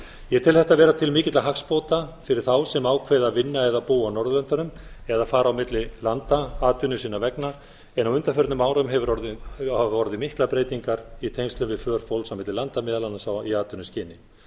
ég tel þetta vera til mikilla hagsbóta fyrir þá sem ákveða að vinna eða búa á norðurlöndunum eða fara á milli landa atvinnu sinnar vegna en á undanförnum árum hafa orðið miklar breytingar í tengslum við för fólks á milli landa meðal annars í atvinnuskyni